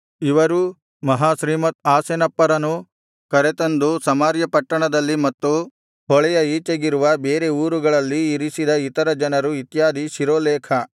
ಇವರೂ ಮಹಾಶ್ರೀಮತ್ ಆಸೆನಪ್ಪರನು ಕರತಂದು ಸಮಾರ್ಯ ಪಟ್ಟಣದಲ್ಲಿ ಮತ್ತು ಹೊಳೆಯ ಈಚೆಗಿರುವ ಬೇರೆ ಊರುಗಳಲ್ಲಿ ಇರಿಸಿದ ಇತರ ಜನರು ಇತ್ಯಾದಿ ಶಿರೋಲೇಖ